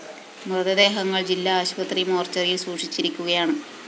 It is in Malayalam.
മൃതദേഹങ്ങള്‍ ജില്ലാ ആശുപത്രി മോര്‍ച്ചറിയില്‍ സൂക്ഷിച്ചിരിക്കുകയാണ്